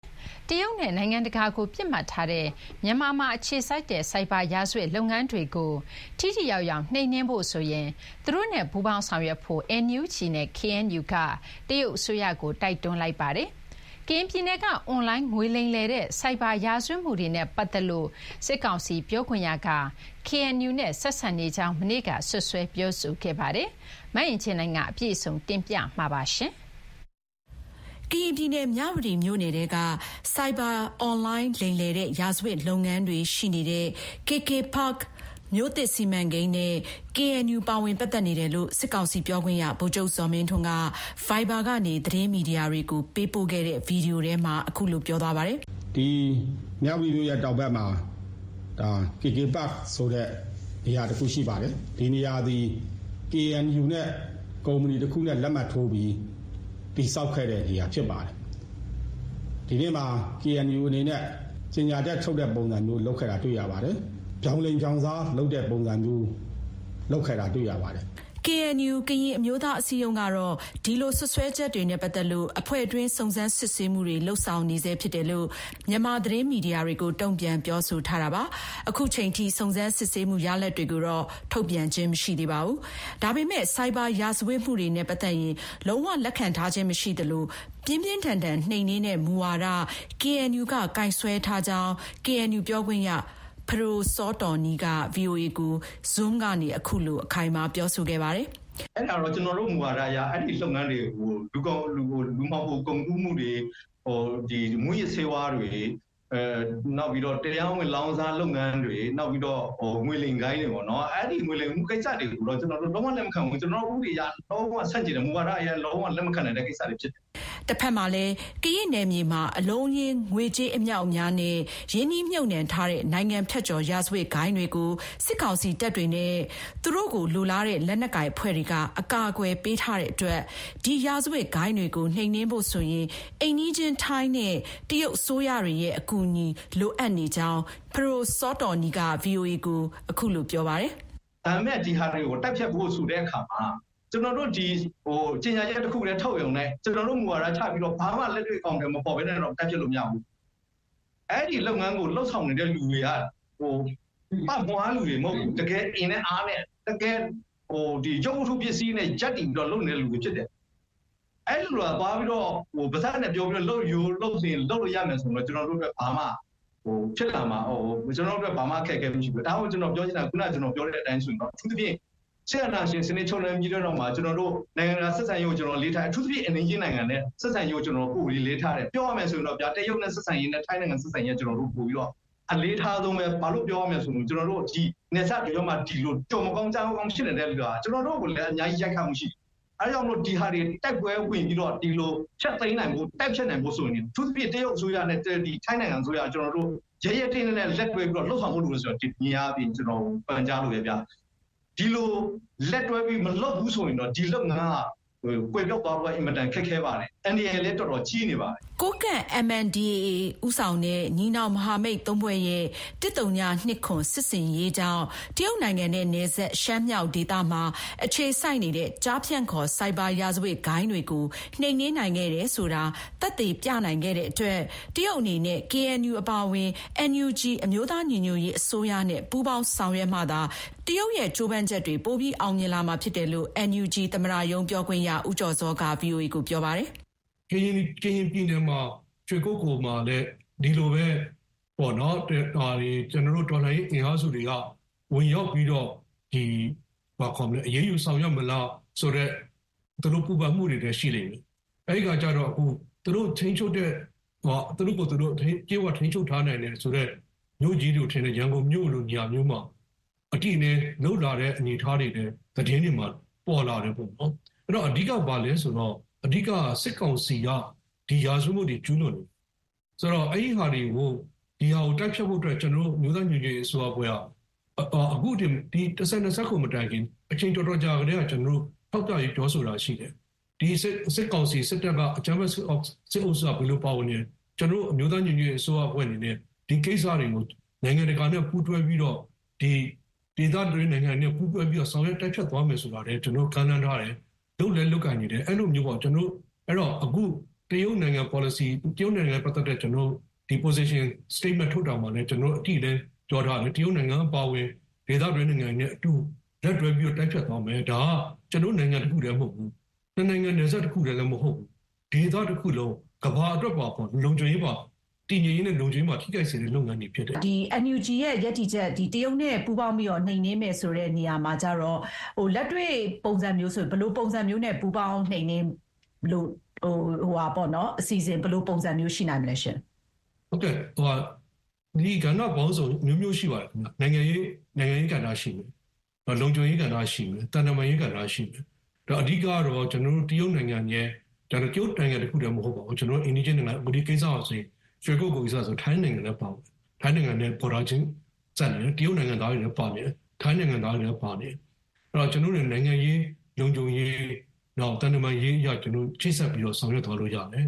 တရုတ်နဲ့ နိုင်ငံတကာကိုပစ်မှတ်ထားတဲ့ မြန်မာမှာအခြေစိုက်တဲ့ ဆိုက်ဘာရာဇဝတ်လုပ်ငန်းတွေကို ထိထိရောက်ရောက်နှိမ်နင်းဖို့ဆိုရင် သူတို့နဲ့ ပူးပေါင်းဆောင်ရွက်ဖို့ NUG နဲ့ KNU က တရုတ်အစိုးရကို တိုက်တွန်းလိုက်ပါတယ်။ ကရင်ပြည်နယ်က အွန်လိုင်း ငွေလိမ်တဲ့ဆိုက်ဘာရာဇဝတ်မှုတွေနဲ့ပတ်သက်လို့ စစ်ကောင်စီပြောခွင့်ရက KNU ကရင်အမျိုးသားညီညွတ်ရေးအစည်းအရုံးနဲ့ ဆက်စပ်နေကြောင်း မနေ့က စွပ်စွဲပြောဆိုခဲ့ပါတယ်။ မအင်ကြင်းနိုင်က အပြည့်အစုံတင်ပြထားပါတယ်။ ကရင်ပြည်နယ် မြဝတီမြို့နယ်ထဲက ဆိုက်ဘာ အွန်လိုင်းလိမ်လည်တဲ့ ရာဇဝတ်လုပ်ငန်းတွေရှိနေတဲ့ KK Park မြို့သစ်စီမံကိန်းနဲ့ KNU ပါဝင်ပတ်သက်နေတယ်လို့ စစ်ကောင်စီပြောခွင့်ရ ဗိုလ်ချုပ်ဇော်မင်းထွန်းက Viber ကနေ သတင်းမီဒီယာတွေကို ပေးပို့ခဲ့တဲ့ ဗွီဒီယိုထဲမှာ အခုလို ပြောသွားပါတယ်။ "မြဝတီမြို့ရဲ့တောင်ဘက်မှာ KK Park ဆိုတဲ့ နေရာတခုရှိပါတယ်။ ဒီနေရသည် KNU နဲ့ ကုမ္ပဏီတခုနဲ့လက်မှတ်ထိုးပြီး တည်ဆောက်ခဲ့တဲ့နေရာဖြစ်ပါတယ်။ ဒီနေ့မှာ KNU အနေနဲ့ ကြေညာချက်ထုတ်တဲ့ပုံစံမျိုး လုပ်ခဲ့တာ တွေ့ရပါတယ်။ ဗြောင်လိမ်ဗြောင်စားလုပ်တဲ့ပုံစံမျိုး လုပ်ခဲ့တာ တွေ့ရပါတယ်။" KNU ကရင်အမျိုးသားအစည်းအရုံးကတော့ ဒီလိုစွပ်စွဲချက်တွေနဲ့ ပတ်သက်လို့ အဖွဲ့တွင်း စုံစမ်းစစ်ဆေးနေဆဲဖြစ်တယ်လို့ မြန်မာ သတင်းမီဒီယာတွေကို တုံ့ပြန်ပြောဆိုထားပြီးသား ဖြစ်ပါတယ်။ အခုချိန်ထိ စုံစမ်းစစ်ဆေးမှုရလဒ်တွေကို ထုတ်ပြန်ခြင်းမရှိသေးပါဘူး။ ဒါပေမယ့် ဆိုက်ဘာရာဇဝတ်မှုတွေနဲ့ပတ်သက်ရင် လုံးဝလက်ခံထားခြင်းမရှိသလို ပြင်းပြင်းထန်ထန်နှိမ်နင်းတဲ့ မူဝါဒကို KNU က ကိုင်စွဲထားကြောင်း KNU ပြောခွင့်ရ ပဒိုစောတောနီးက ဗွီအိုအေ ကို Zoom ကနေ အခုလို အခိုင်အမာ ပြောဆိုခဲ့ပါတယ်။ "ကျနော်တို့မူဝါဒအရ အဲဒီလုပ်ငန်းတွေကို - လူမှောင်ခိုကုန်ကူးမှုတွေ၊ မူးယစ်ဆေးဝါးတွေ၊ နောက်ပြီးတော့ တရားမဝင် လောင်းကစားလုပ်ငန်းတွေ၊ နောက်ပြီးတော့ ငွေလိမ်ဂိုဏ်းတွေပေ့ါနော်- အဲဒီ ငွေလိမ်မှု လုပ်ငန်းတွေကိုတော့ ကျနော်တို့ လုံးဝလက်မခံဘူး။ ကျနော်တို့ဥပဒေအရ လုံးဝဆန့်ကျင်တယ်။ မူဝါဒအရလည်း လုံးဝလက်မခံနိုင်တဲ့ ကိစ္စတွေဖြစ်တယ်။" တဘက်မှာလည်း ကရင့်နယ်မြေမှာ ငွေကြေးအလုံးအရင်းနဲ့ ရင်းနှီးမြှုပ်နှံထားတဲ့ နိုင်ငံဖြတ်ကျော် ရာဇဝတ်ဂိုဏ်းတွေကို စစ်ကောင်စီတပ်တွေနဲ့ သူတို့ကိုလိုလားတဲ့ လက်နက်ကိုင်အဖွဲ့တွေက အကာအကွယ်ပေးထားတဲ့အတွက် ဒီရာဇဝတ်ဂိုဏ်းတွေကို နှိမ်နင်းဖို့ဆိုရင် အိမ်နီးချင်း ထိုင်းနဲ့ တရုတ်အစိုးရတွေရဲ့အကူအညီလိုအပ်နေကြောင်း KNU ပြောခွင့်ရ ပဒိုစောတောနီးက အခုလို ပြောပါတယ်။ "ဒါပေမဲ့ ဒီဟာတွေကို တိုက်ဖျက်ဖို့ ဆိုတဲ့အခါမှာ ကျနော်တို့ ဒီ ကြေညာချက်တခုတည်းထုတ်ရုံနဲ့၊ ကျနော်တို့ မူဝါဒချပြီးတော့ ဘာမှ လက်တွေ့အကောင်အထည်မဖော်ဘဲနဲ့တော့ ဖမ်းပစ်လို့ မရဘူး။ အဲဒီ လုပ်ငန်းကို လုပ်ဆောင်နေတဲ့သူတွေက ပမွှားလူတွေမဟုတ်ဘူး။ တကယ်ကို အင်နဲ့အားနဲ့ ရုပ်ဝတ္ထုပစ္စည်းနဲ့ ရပ်တည်ပြီးတော့ လုပ်နေတဲ့သူတွေဖြစ်တယ်။ အဲဒီလိုသာ သွားပြီးတော့ ပါးစပ်နဲ့ပြောပြီးတော့ လုပ်ရိုးလုပ်စဥ် လုပ်လို့ရမယ်ဆိုရင် ကျနော်တို့အတွက် ဘာမှ အခက်အခဲမရှိဘူး။ ဒါကို ကျနော် ပြောချင်တာ။ အခုနက ကျနော်ပြောတဲ့အတိုင်းဆိုရင်တော့ အထူးသဖြင့် စစ်အာဏာရှင်စနစ် ခြုံလွှမ်းပြီးတဲ့နောက်မှာ နိုင်ငံတကာဆက်ဆံရေးကို ကျနော်တို့ အလေးထားတယ်။ အထူးသဖြင့် အိမ်နီးချင်းနိုင်ငံတွေနဲ့ဆက်ဆံရေးကို ပိုပြီး အလေးထားတယ်။ ပြောရမယ်ဆိုရင်တော့ဗျာ- တရုတ်နဲ့ဆက်ဆံရေးနဲ့ ထိုင်းနိုင်ငံနဲ့ဆက်ဆံရေးကို ကျနော်တို့က ပိုပြီးတော့ အလေးအထားဆုံးပဲ။ ဘာလို့ပြောရမလဲဆိုရင် နယ်စပ်တကြောမှာ ကျော်မကောင်း ကြားမကောင်းဖြစ်နေတဲ့ဥစ္စာက ကျနော်တို့ကိုလည်း အများကြီး ရိုက်ခတ်မှုရှိနေတယ်။ အဲဒါကြောင့်မို့လို့ ဒီဟာတွေကို တိုက်ပွဲဝင်ပြီးတော့ ဒီလို ဖျက်သိမ်းနိုင်ဖို့၊ တိုက်ဖျက်နိုင်ဖို့ဆိုရင် အထူးသဖြင့် တရုတ်အစိုးရနဲ့တွဲပြီး ထိုင်းနိုင်ငံအစိုးရက ကျနော်တို့ ရဲရဲတင်းတင်းနဲ့လက်တွဲပြီး လုပ်ဆောင်ဖို့ဆိုတာကို ကျနော် ဒီနေရာကနေ ပန်ကြားလိုတယ်ဗျ။ ဒီလို လက်တွဲပြီး မလုပ်ဘူး ဆိုရင်တော့ ဒီလုပ်ငန်းက ကွယ်ပျောက်သွားဖို့က အင်မတန် ခက်ခဲပါတယ်။ အန္တရာယ်လည်း တော်တော် ကြီးနေပါတယ်။" ကိုးကန့် MNDAA ဦးဆောင်တဲ့ ညီနောင်မဟာမိတ်သုံးဖွဲ့ရဲ့ ၁၀၂၇ စစ်ဆင်ရေးကြောင့် တရုတ်နိုင်ငံနဲ့ နယ်စပ် ရှမ်းမြောက်မှာ အခြေစိုက်တဲ့ ကျားဖြန့်ခေါ် ဆိုက်ဘာရာဇဝတ်ဂိုဏ်းတွေကို နှိမ်နင်းနိုင်ခဲ့တယ်ဆိုတာ သက်သေပြနိုင်တဲ့အတွက် တရုတ်အနေနဲ့ KNU အပါအဝင် NUG အမျိုးသားညီညွတ်ရေးအစိုးရနဲ့ ပူးပေါင်းဆောင်ရွက်မှသာ တရုတ်ရဲ့ကြိုးပမ်းချက်တွေ ပိုပြီးအောင်မြင်လာမှာဖြစ်တယ်လို့ NUG သမ္မတရုံးပြောခွင့်ရ ဦးကျော်ဇော်က ဗွီအိုအေ ကိုပြောပါတယ်။ "ကရင်ပြည်နယ်မှာ ရွှေကုက္ကိုမှာလည်း ဒီလိုပဲပေါ့နော်- ကျနော်တို့ တော်လှန်ရေးအင်အားစုတွေက ဝင်ရောက်ပြီးတော့ အရေးယူဆောင်ရွက်မလားဆိုတဲ့ သူတို့ ပူပန်မှုတွေလည်း ရှိလိမ့်မယ်။ အဲဒီခါကျတော့ သူတို့ကိုယ်သူတို့ တရုတ်က ထိန်းချုပ်ထားနိုင်တယ်ဆိုတဲ့ မြို့ကြီးတွေလို ဖြစ်နေတဲ့ ရန်ကုန်မြို့လို နေရာမျိုးမှာ အတိအလင်း လုပ်လာတဲ့အနေအထားတွေလည်း သတင်းတွေမှာ ပေါ်လာတယ်ပေါ့နော်။ အဲတော့ အဓိက ဘာလဲဆိုတော့ အဓိက-က စစ်ကောင်စီက ရာဇဝတ်မှုတွေ ကျူးလွန်နေတယ်၊ ဒီဟာကို တိုက်ဖျက်ဖို့အတွက် ကျနော်တို့ အမျိုးသားညီညွတ်ရေးအစိုးရအဖွဲ့က ၁၀၂၇ မတိုင်ခင် အချိန်တော်တော်ကြာကတည်းက ကျနော်တို့.....ပြောဆိုတာ ရှိတယ်။ ဒီစစ်ကောင်စီ၊ စစ်တပ်--အကြမ်းဖက်စစ်အုပ်စုက ဘယ်လို ပါဝင်နေတယ်...ကျနော်တို့ အမျိုးသားညီညွတ်ရေးအစိုးရအဖွဲ့အနေနဲ့ ဒီကိစ္စတွေကို နိုင်ငံတကာနဲ့ပူးတွဲပြီးတော့၊ ဒေသတွင်းနိုင်ငံတွေနဲ့ပူးတွဲပြီးတော့ ဆောင်ရွက်တိုက်ဖျက်သွားမယ်ဆိုတာကိုလည်း ကျနော်တို့ ကမ်းလှမ်းထားတယ်။ လုပ်လည်း လုပ်ကိုင်နေတယ်။ အဲဒီလိုမျိုးပေါ့။ အခု တရုတ်နိုင်ငံနဲ့ပတ်သက်တဲ့ ကျနော်တို့ စတိတ်မဲန့် ထုတ်တာမှာလည်း ကျနော်တို့ အတိအလင်း ပြောထားတယ်။ တရုတ်နိုင်ငံအပါအဝင် ဒေသတွင်းနိုင်ငံတွေနဲ့အတူ လက်တွဲပြီးတော့ တိုက်ဖျက်သွားမယ်။ ဒါက ကျနော်တို့နိုင်ငံတခုတည်းမဟုတ်ဘူး၊ နှစ်နိုင်ငံနယ်စပ်တခုတည်းလည်း မဟုတ်ဘူး။ ဒေသတခုလုံး၊ ကမ္ဘာအတွက်ပါ တည်ငြိမ်ရေးနဲ့ လုံခြုံရေးအတွက်ပါ ထိခိုက်စေတဲ့ လုပ်ငန်းတွေ ဖြစ်တယ်။ အင်ကြင်းနိုင်။ ။ NUG ရဲ့ရပ်တည်ချက်က တရုတ်နဲ့ပူးပေါင်းပြီးတော့ နှိမ်နင်းမယ်ဆိုတဲ့နေရာမှာ လက်တွေ့ ဘယ်လိုပုံစံမျိုးနဲ့ ပူးပေါင်းနှိမ်နင်းလို့...အစီအစဥ် ဘယ်လိုပုံစံမျိုး ရှိနိုင်မလဲရှင့်။ ဦးကျော်ဇော။ ။ ဟုတ်ကဲ့၊ ကဏ္ဍပေါင်းစုံ အမျိုးမျိုးရှိပါတယ်ခင်ဗျ။ နိုင်ငံရေးကဏ္ဍရှိမယ်၊ လုံခြုံရေးကဏ္ဍရှိမယ်၊ သံတမန်ရေးကဏ္ဍရှိမယ်။ အဓိက-ကတော့ တရုတ်နိုင်ငံရဲ့...ဒါပေမဲ့ တရုတ်နိုင်ငံတခုတည်းလည်းမဟုတ်ပါဘူး။ အိမ်နီးချင်းနိုင်ငံတွေနဲ့။ ရွှေကုက္ကိုကိစ္စဆိုရင် ထိုင်းနိုင်ငံလည်း ပါပါတယ်။ ထိုင်းနိုင်ငံနဲ့ ဘော်ဒါချင်းစပ်နေတယ်။ တရုတ်နိုင်ငံသားတွေလည်းပါတယ်။ ထိုင်းနိုင်ငံသားတွေလည်း ပါတယ်။ အဲဒီတော့ ကျနော်တို့အနေနဲ့ နိုင်ငံရေး၊ လုံခြုံရေး နောက် သံတမန်ရေးအရ ကျနော်တို့ ချိတ်ဆက်ပြီးတော့ ဆောင်ရွက်သွားလို့ရမယ်